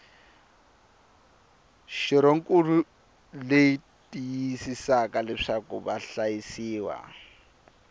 xirhonkulu leyi tiyisisaka leswaku vahlayisiwa